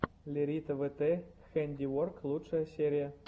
лерита вт хэндиворк лучшая серия